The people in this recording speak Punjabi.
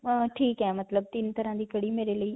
ਅਅ ਠੀਕ ਹੈ. ਮਤਲਬ ਤਿੰਨ ਤਰ੍ਹਾਂ ਦੀ ਕੜੀ ਮੇਰੇ ਲਈ.